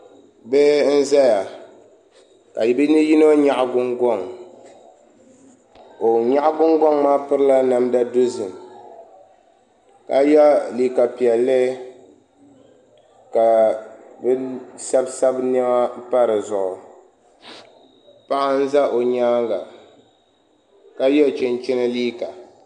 Bihi n ʒɛya ka bi yino nyaɣa Gungoŋ ŋun nyaɣa Gungoŋ maa pirila namda dozim ka yɛ liiga piɛlli ka bi sabisabi niɛma pa dizuɣu paɣa n ʒɛ o nyaanga ka yɛ chinchin liiga